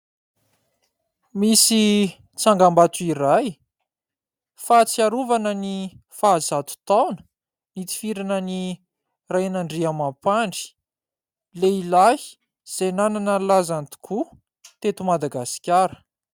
Misy tsangam-bato iray, fahatsiarovana ny faha zato taona nitifirana an'i Rainandriamampandry, lehilahy izay nanana ny lazany tokoa teto Madagasikara.